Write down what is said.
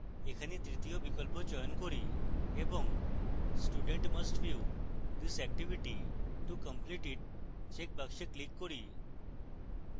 এখানে তৃতীয় বিকল্প চয়ন 3rd এবং student must view this activity to complete it checkbox click 3rd